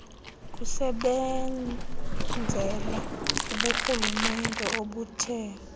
kusebenzela kuburhulumente obuthe